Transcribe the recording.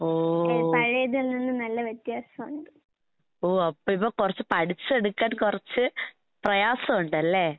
ഓ. ഓ അപ്പ ഇപ്പ കൊറച്ച് പഠിച്ചെടുക്കാൻ കൊറച്ച് പ്രയാസോണ്ടല്ലേ?